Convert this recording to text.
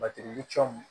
Batiri cɔ